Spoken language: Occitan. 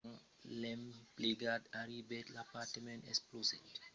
quand l'emplegat arribèt l'apartament explosèt